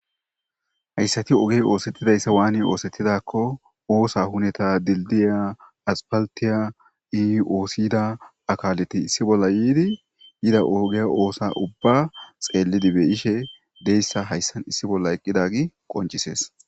hayssati ogey oosettidayssa waani oosettidakko oosa huneta dildiya aspaltiya ioosiyda akaleti issi bolla yiidi yida oogeya oosa ubba xeellidi be ishe deyssa hayssan issi bolla eqqidagi qoncisees